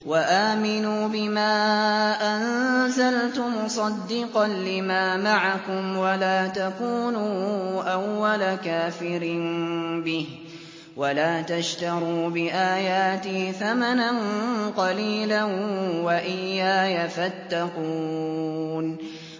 وَآمِنُوا بِمَا أَنزَلْتُ مُصَدِّقًا لِّمَا مَعَكُمْ وَلَا تَكُونُوا أَوَّلَ كَافِرٍ بِهِ ۖ وَلَا تَشْتَرُوا بِآيَاتِي ثَمَنًا قَلِيلًا وَإِيَّايَ فَاتَّقُونِ